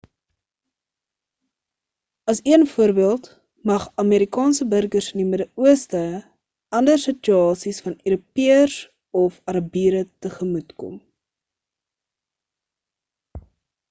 as een voorbeeld mag amerikaanse burgers in die middeooste ander situasies van europeërs of arabiere tegemoetkom